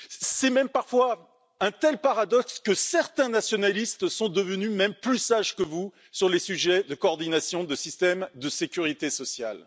C'est même, parfois, un tel paradoxe que certains nationalistes sont devenus plus sages que vous sur les sujets de coordination des systèmes de sécurité sociale.